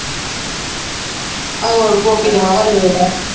ਹੋਰ ਗੋਪੀ ਤੇ ਵਾਹਵਾ late ਆਇਆ